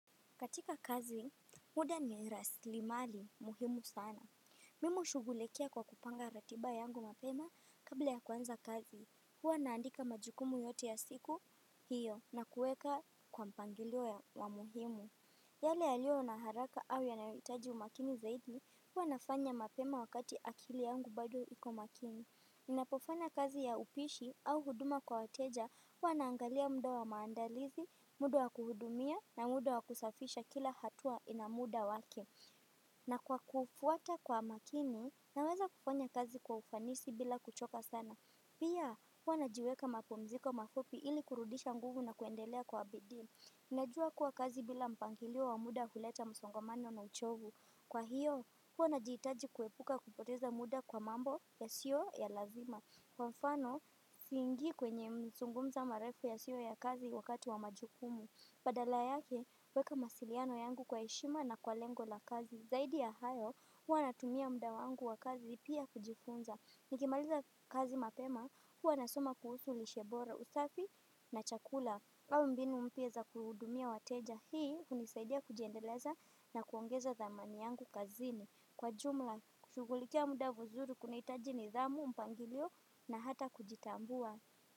Katika kazi, muda ni rasili mali muhimu sana. Mimi hushugulikia kwa kupanga ratiba yangu mapema kabla ya kuanza kazi. Huwa naandika majukumu yote ya siku hiyo na kuweka kwa mpangilio ya wa muhimu. Yale yaliyo na haraka au yanahitaji umakini zaidi, huwa nafanya mapema wakati akili yangu bado iko makini. Ninapofanya kazi ya upishi au huduma kwa wateja, huwa naangalia muda wa maandalizi, muda wa kuhudumia na muda wa kusafisha kila hatua inamuda wake. Na kwa kufuata kwa umakini, naweza kufanya kazi kwa ufanisi bila kuchoka sana. Pia, huwa najiweka mapumziko mafupi ili kurudisha nguvu na kuendelea kwa bidii. Najua kuwa kazi bila mpangilio wa muda huleta msongomano na uchovu. Kwa hiyo, huwa najihitaji kuepuka kupoteza muda kwa mambo ya sio ya lazima. Kwa mfano, siingi kwenye mazungumzo marefu yasiyo ya kazi wakati wa majukumu. Badala yake, huweka mawasiliano yangu kwa heshima na kwa lengo la kazi. Zaidi ya hayo, huwa natumia muda wangu wa kazi pia kujifunza. Nikimaliza kazi mapema, huwa nasoma kuhusu lishe bora usafi na chakula au mbinu mpya za kuhudumia wateja, hii hunisaidia kujiendeleza na kuongeza dhamani yangu kazini. Kwa jumla, kushugulikia muda vizuri kuna hitaji nidhamu, mpangilio na hata kujitambua.